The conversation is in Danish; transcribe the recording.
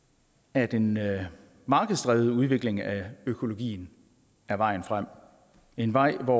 at en markedsdrevet udvikling af økologien er vejen frem en vej hvor